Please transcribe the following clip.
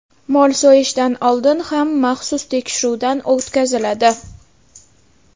Mol so‘yishdan oldin ham maxsus tekshiruvdan o‘tkaziladi.